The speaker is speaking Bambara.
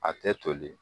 A tɛ toli